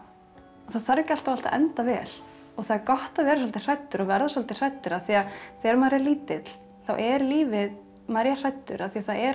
það þarf ekki alltaf allt að enda vel og það er gott að vera svolítið hræddur verða svolítið hræddur af því að þegar maður er lítill þá er lífið maður er hræddur af því það er allt